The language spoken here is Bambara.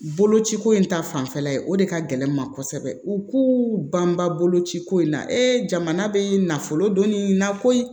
Boloci ko in ta fanfɛla ye o de ka gɛlɛn n ma kosɛbɛ u k'u banbabolo ci ko in na e jamana bee nafolo don nin na koyi